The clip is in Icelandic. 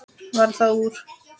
Varð það úr.